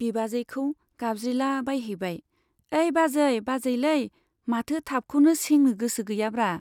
बिबाजैखौ गाबज्रिलाबायहैबाय , ऐ बाजै, बाजैलै, माथो थाबखौनो सेंनो गोसो गैयाब्रा।